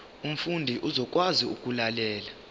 umfundi uzokwazi ukulalela